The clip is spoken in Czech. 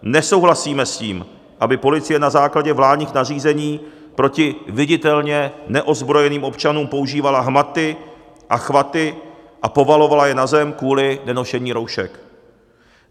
Nesouhlasíme s tím, aby policie na základě vládních nařízení proti viditelně neozbrojeným občanům používala hmaty a chvaty a povalovala je na zem kvůli nenošení roušek.